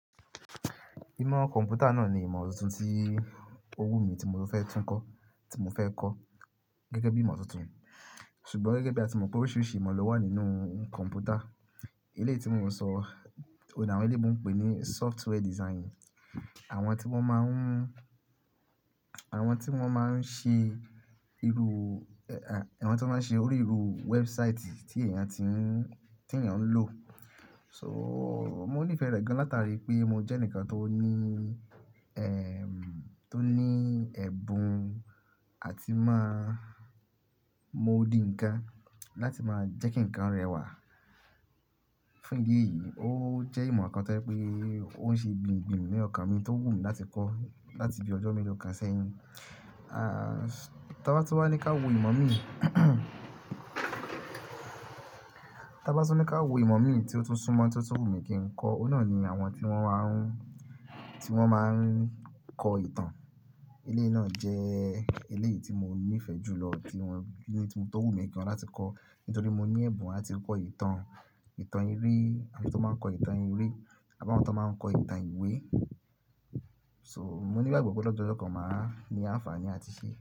Ìmọ̀ kọ̀mpútà náà ni ìmọ̀ tuntun tí ó wù mí tí mo fẹ́ tún kọ́, tí mo fẹ́ kọ́ gẹ́gẹ́ bí ìmọ̀ tuntun. Ṣùgbọ́n gẹ́gẹ́ bí a ti mọ̀ pé oríṣiríṣi ìmọ̀ ló wà nínú kọ̀mpútà. Eléyi tí mò ń sọ, ohun ni àwọn eleyinbo ń pè ní software design. Àwọn tí wọ́n máa ń, àwọn tí wọ́n máa ń ṣe irú, àwọn tí wọ́n máa ń ṣe orí irú website tí èèyàn ti ń, tí èèyàn ń lò. So, mo nífẹ̀ẹ́ rẹ̀ gan láti àrí pé mo jẹ́ ǹkan tó ní, tó ní ẹ̀bùn àti máa mọ odi ǹkan láti máa jẹ́ kí ǹkan rẹwà. Fún ìdí èyí, ó jẹ́ ìmọ̀ kan tó jẹ́ pé ó ń ṣe gbìn gbìn ní ọkàn mi tó wù mí láti kọ́ láti bí ọjọ́ mélò kan sẹ́yìn. T'ábá tún wá ni ká wò ìmọ̀ tí ó tún súmọ́, tí ó tún wù mí kí n kọ́, òun náà ni àwọn tí wọ́n máa, tí wọ́n máa ń kọ ìtàn. Eléyi náà jẹ́ èyí tí mo nífẹ̀ẹ́ jù lọ tí wọn, t tó wù mí gan-an láti kọ́. Nítorí mo ní ẹ̀bùn láti kọ ìtàn, ìtàn eré àti tó máa ń kọ ìtàn eré àbáwọ́n tó máa ń kọ ìtàn ìwé. So, mo ní ìgbàgbọ́ pé lọ́jọ́ lọ́kàn màá ní àǹfààní àti ṣe.